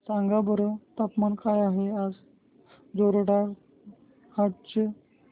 सांगा बरं तापमान काय आहे जोरहाट चे